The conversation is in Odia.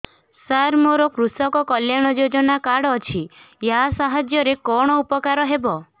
ସାର ମୋର କୃଷକ କଲ୍ୟାଣ ଯୋଜନା କାର୍ଡ ଅଛି ୟା ସାହାଯ୍ୟ ରେ କଣ ଉପକାର ହେବ